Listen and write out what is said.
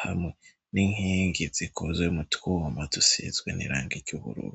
hamwe n'inkingi zikozwe mutwuwumba dusizwe n'iranga ry'uburura.